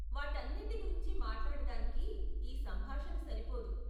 వాటన్నింటి గురించి మాట్లాడటానికి ఈ సంభాషణ సరిపోదు.